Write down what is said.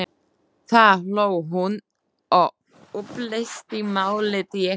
Þá hló hún og upplýsti málið, ég gapti.